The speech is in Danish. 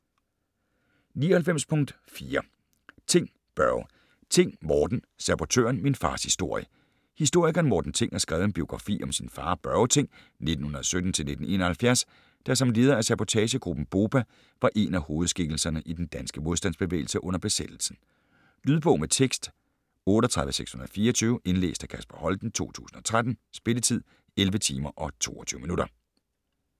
99.4 Thing, Børge Thing, Morten: Sabotøren: min fars historie Historikeren Morten Thing har skrevet en biografi om sin far Børge Thing (1917-1971), der som leder af sabotagegruppen BOPA var en af hovedskikkelserne i den danske modstandsbevægelse under besættelsen. Lydbog med tekst 38624 Indlæst af Kasper Holten, 2013. Spilletid: 11 timer, 22 minutter.